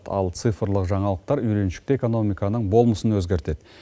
ал цифрлық жаңалықтар үйреншікті экономиканың болмысын өзгертеді